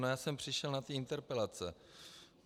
No já jsem přišel na ty interpelace.